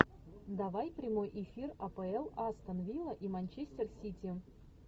давай прямой эфир апл астон вилла и манчестер сити